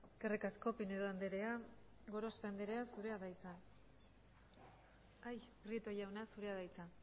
eskerrik asko pinedo anderea prieto jauna zurea da hitza